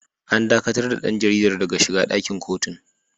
An dakatar da ɗan jaridar daga shiga ɗakin kotun.